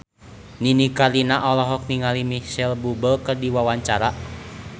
Nini Carlina olohok ningali Micheal Bubble keur diwawancara